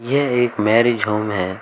यह एक marriage home है।